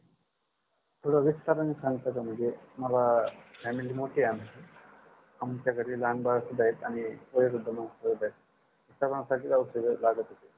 थोड विस्ताराणी सांगता का म्हणजे मला family मोठी आहे आमची आमच्या घरी लहान बाळ सुद्धा आहे आणि वयोवृद्ध माणसंसुद्धा आहेत आणि सर्वांसाठीच औषध लागत होती